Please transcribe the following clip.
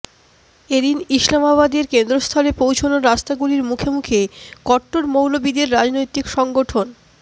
এ দিন ইসলামাবাদের কেন্দ্রস্থলে পৌঁছনোর রাস্তাগুলির মুখে মুখে কট্টর মৌলবিদের রাজনৈতিক সংগঠন